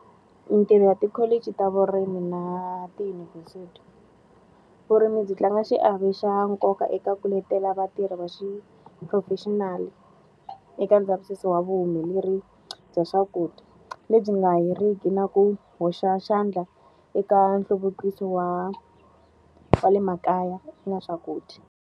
Mintirho ya tikholiji ta vurimi na tiyunivhesiti. Vurimi byi tlanga xiave xa nkoka eka ku letela vatirhi va xiphurofexinali eka ndzavisiso wa vuhumelerisi bya swakudya. Lebyi nga heriki na ku hoxa xandla eka nhluvukiso wa va le makaya na swakudya.